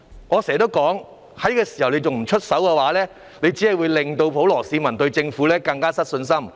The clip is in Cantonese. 我經常說，政府在這時候還不出手，只會令普羅市民對政府更失信心。